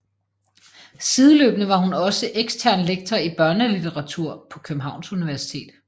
Sideløbende var hun også ekstern lektor i børnelitteratur på Københavns Universitet